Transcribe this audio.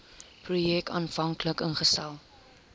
projek aanvanklik ingestel